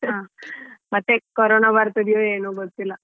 ಹ ಮತ್ತೆ ಕೊರೋನಾ ಬರ್ತದೆಯೇನೋ ಗೊತ್ತಿಲ್ಲ.